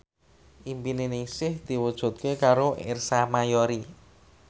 impine Ningsih diwujudke karo Ersa Mayori